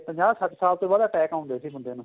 ਤੇ ਪੰਜਾਹ ਸੱਠ ਸਾਲ ਤੋਂ ਬਾਅਦ attack ਆਉਦੇ ਸੀ ਬੰਦੇ ਨੂੰ